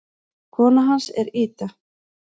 Kona hans er Ida.